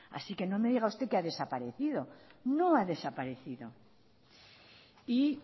así que no me diga usted que ha desaparecido no ha desaparecido y